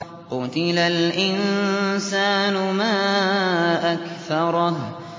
قُتِلَ الْإِنسَانُ مَا أَكْفَرَهُ